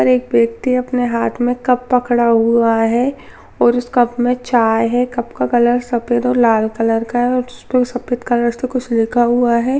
और एक व्यक्ति ने अपने हाथ में कप पकड़ा हुआ है और उसे कप में चाय है कप का कलर सफेद और लाल कलर का है और उसमें सफेद कलर से कुछ लिखा हुआ है।